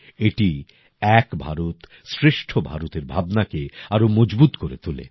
এটি এক ভারত শ্রেষ্ঠ ভারতের ভাবনাকে আরো মজবুত করে তোলে